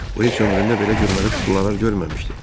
O heç ömründə belə gülməli kuklalar görməmişdi.